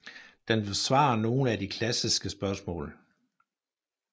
Den besvarer nogle af de klassiske spørgsmål